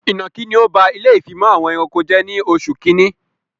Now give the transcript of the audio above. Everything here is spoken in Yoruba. Ìnọ̀kí ni ọ ba ilé ìfimọ̀ àwọn ẹranko jẹ ní oṣù kínní